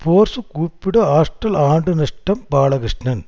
force கூப்பிடு hostel ஆண்டு நஷ்டம் பாலகிருஷ்ணன்